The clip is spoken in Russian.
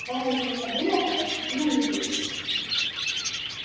байерли подумал об этом и улыбнулся